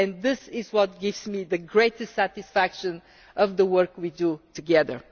This is what gives me the greatest satisfaction of the work we do together.